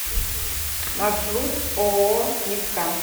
маршрут ооо мидкам